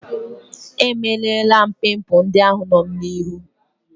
Emelara m pimpul ndị ahụ nọ m n'ihu.